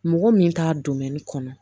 Mɔgɔ min t'a don kɔnɔ